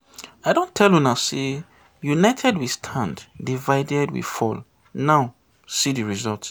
I don tell una say united we stand, divided we fall now see the result